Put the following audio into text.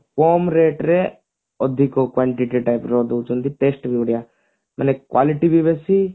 କମ rate ରେ ଅଧିକ quantity type ର ଦଉଛନ୍ତି test ବଢିଆ ମାନେ quality ଟି ବି ବେଶୀ